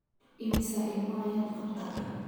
Immisa ilmo ayaad qabtaa?